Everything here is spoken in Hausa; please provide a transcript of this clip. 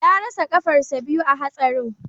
Ya rasa kafarsa biyu a hatsarin